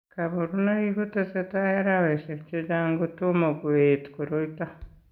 Kabarunoik ko tesetai araweshek chechang' ko tomo koet koroito.